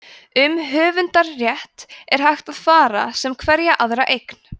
um höfundarrétt er hægt að fara með sem hverja aðra eign